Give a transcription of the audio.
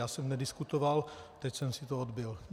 Já jsem nediskutoval, teď jsem si to odbyl.